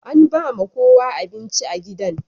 An ba ma kowa abinci a gidan.